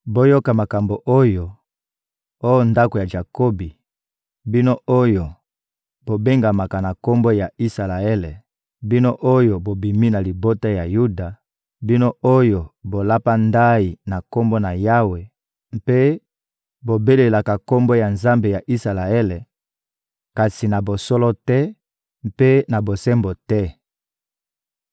Boyoka makambo oyo, oh ndako ya Jakobi, bino oyo bobengamaka na kombo ya Isalaele, bino oyo bobimi na libota ya Yuda, bino oyo bolapaka ndayi na Kombo na Yawe mpe bobelelaka Kombo ya Nzambe ya Isalaele, kasi na bosolo te mpe na bosembo te!